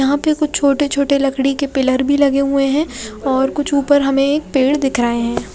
यहां पे कुछ छोटे छोटे लकड़ी के पिलर भी लगे हुए हैं और कुछ ऊपर हमें एक पेड़ दिखाए हैं।